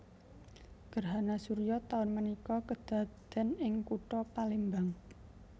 Gerhana suryo taun menika kedaden ing kuto Palembang